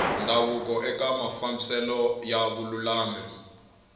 ndhavuko eka mafambiselo ya vululami